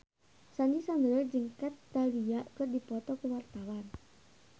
Sandy Sandoro jeung Kat Dahlia keur dipoto ku wartawan